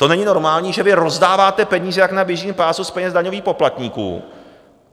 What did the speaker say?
To není normální, že vy rozdáváte peníze jak na běžícím pásu z peněz daňových poplatníků.